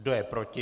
Kdo je proti?